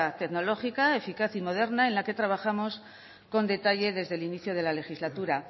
tecnológica eficaz y moderna en la que trabajamos con detalle desde el inicio de la legislatura